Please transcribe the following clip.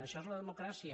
això és la democràcia